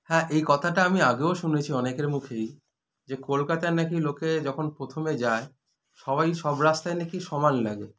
হ্যাঁ এই কথাটা আমি আগেও শুনেছি অনেকের মুখেই যে কলকাতায় নাকি লোকে যখন প্রথমে যায় সবাই সব রাস্তাই নাকি সমান লাগে